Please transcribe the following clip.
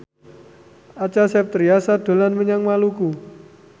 Acha Septriasa dolan menyang Maluku